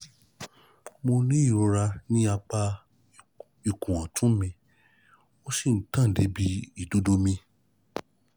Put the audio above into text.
Mo ní ìrora ní apá ọ̀tún ikùn mi, ó sì ń tàn dé ibi ìdodo mi